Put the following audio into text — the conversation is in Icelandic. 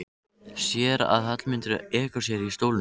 Sér að Hallmundur ekur sér í stólnum.